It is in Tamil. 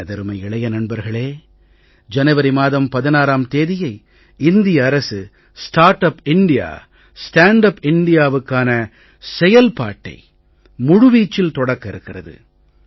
எனதருமை இளைய நண்பர்களே ஜனவரி மாதம் 16ம் தேதியை இந்திய அரசு start up India stand up indiaவுக்கான செயல்பாட்டை முழு வீச்சில் தொடக்க இருக்கிறது